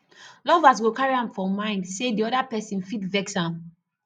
lovers go carry am for mind sey di oda person fit vex am